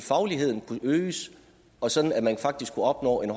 fagligheden kunne øges og sådan at man faktisk kunne opnå en